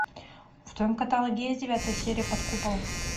в твоем каталоге есть девятая серия под куполом